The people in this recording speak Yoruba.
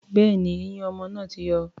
Bẹ́ẹ̀ni, eyín ọmọ náà ti yọ.